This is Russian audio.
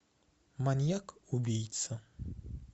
маньяк убийца